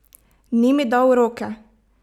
Ni mi dal roke?